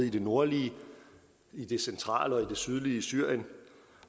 i det nordlige centrale og sydlige syrien